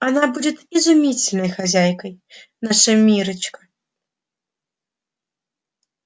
она будет изумительной хозяйкой наша миррочка